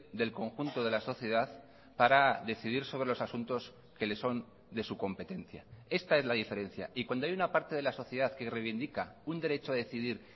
del conjunto de la sociedad para decidir sobre los asuntos que le son de su competencia esta es la diferencia y cuando hay una parte de la sociedad que reivindica un derecho a decidir